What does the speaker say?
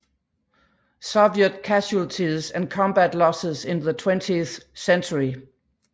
Soviet Casualties and Combat Losses in the Twentieth Century